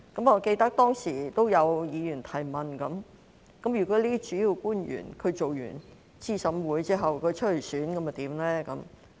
我記得當時有議員提問，如果主要官員擔任資審會成員後參選，會有何安排？